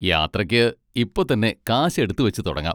യാത്രയ്ക്ക് ഇപ്പൊ തന്നെ കാശ് എടുത്തുവെച്ച് തുടങ്ങാം.